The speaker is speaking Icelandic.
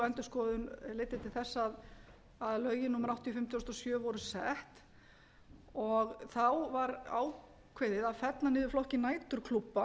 endurskoðun leiddi til þess að lögin númer áttatíu og fimm tvö þúsund og sjö voru sett þá var ákveðið að fella niður flokkinn næturklúbba